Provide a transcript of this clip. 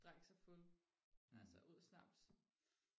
drikke sig fuld altså ud snaps